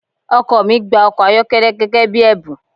Ọkọ mi gba ọkọ-ayokele gẹ́gẹ́ bí ẹ̀bùn.